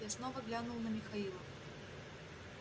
я снова глянул на михаила